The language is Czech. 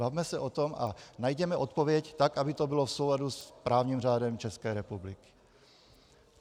Bavme se o tom a najděme odpověď tak, aby to bylo v souladu s právním řádem České republiky.